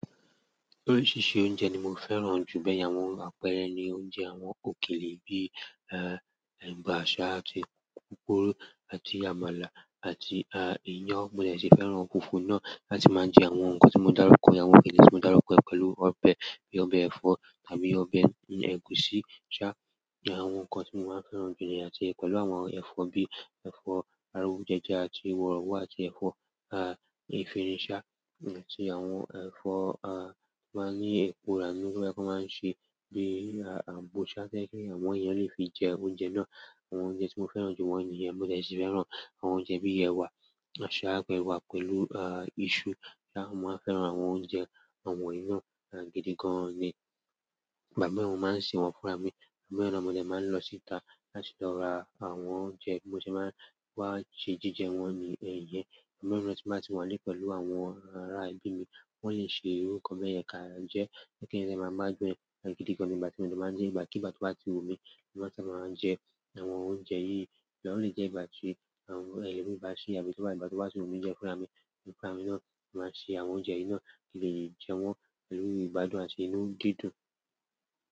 Oríṣiríṣi oúnjẹ ni mo fẹ́ràn jù, bẹ́ẹ̀ yà wọ́n àpẹẹrẹ ni oúnjẹ àwọn òkèlè bíi, ẹ́, ẹ̀bà, àti pupuru àti àmàlà àti, ẹ́, iyán. Mo dẹ̀ ti fẹ́ràn funfun náà láti máa jẹ àwọn nǹkan tí mo dárúkọ, àwọn òkèlè tí mo dárúkọ pẹ̀lú ọbẹ̀ bíi ọbẹ̀ ẹ̀fọ́ tàbí ọbẹ̀ ẹ̀gúsí sábà. Àwọn nǹkan tí mo máa ń fẹ́ràn jùlọ ni láti pẹ̀lú àwọn ẹ̀fọ́ bíi ẹ̀fọ́ arújẹja àti wọ̀rọ̀ wọ́ àti ẹ̀fọ́, ẹ́, ẹ̀fọ́ ìfẹniisá, ẹ́, tí àwọn ẹ̀fọ́, ẹ́, máa ń ní epo ránu kí wọ́n máa ń ṣe bíi, ẹ́, ààbò ṣáájú kí àwọn èèyàn lè fi jẹ oúnjẹ náà. Àwọn oúnjẹ tí mo fẹ́ràn jù wọ́n nìyẹn, mo dẹ̀ ti fẹ́ràn àwọn oúnjẹ bíi ẹwà, àsálà pẹ̀lú, ẹ́, iṣu. Mo máa ń fẹ́ràn àwọn oúnjẹ àwọn yìí náà gidi gan-an ni. Ìgbà mìíràn mo máa ń sè wọ́n fúnra mi, àgbẹ̀ mìíràn lọ́mọ mi ọdẹ máa ń lọ síta láti lọ ra àwọn oúnjẹ bí mo ṣe máa ń wá sè jíjẹ wọn nìyẹn. Ìgbà mìíràn tí wọ́n bá ti wà ní pẹ̀lú àwọn ará ìlú mi, wọ́n lè ṣe nǹkan bí i ẹ̀ka jẹ́ kí nǹkan ṣe máa máa gbọ̀n gidi gan-an nígbàtí mo ṣe máa ń dín ìgbàkígbà tí wọ́n bá ti wù mí nígbà tí mo máa ń jẹ àwọn oúnjẹ yìí. Ṣùgbọ́n ó lè jẹ́ ìgbà tí àwọn ẹlòmí bá sí tàbí tí wọ́n bá, ìgbà tí wọ́n bá ṣe wọ́n fúnra mi, fúnra mi náà, mo máa ṣe àwọn oúnjẹ yìí náà kí n lè jẹ wọ́n pẹ̀lú ìgbádùn àti inú dídùn.